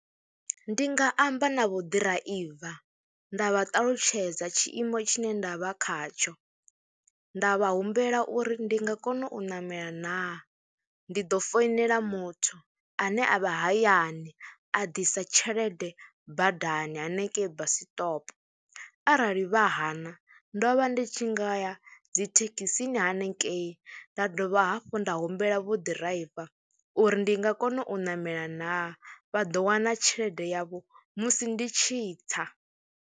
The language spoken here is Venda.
Ndi nga amba na vho ḓiraiva nda vha ṱalutshedza tshiimo tshine nda vha khatsho, nda vha humbela uri ndi nga kona u ṋamela naa, ndi ḓo foinela muthu ane a vha hayani a ḓisa tshelede badani hanengei basiṱopo arali vha hana ndo vha ndi tshi nga ya dzi thekhisini hanengei nda dovha hafhu nda humbela vho ḓiraiva uri ndi nga kona u ṋamela naa, vha ḓo wana tshelede yavho musi ndi tshi tsa.